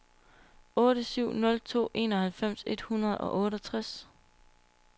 otte syv nul to enoghalvfems et hundrede og otteogtres